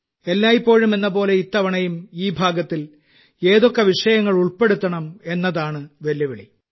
എല്ലായ്പ്പോഴും എന്നപോലെ ഇത്തവണയും ഈ ഭാഗത്തിൽ ഏതൊക്കെ വിഷയങ്ങൾ ഉൾപ്പെടുത്തണം എന്നതാണ് വെല്ലുവിളി